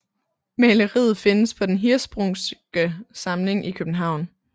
Maleriet findes på Den Hirschsprungske Samling i København